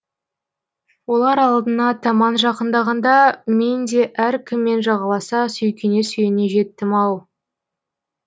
олар алдына таман жақындағанда мен де әркіммен жағаласа сүйкене сүйене жеттім ау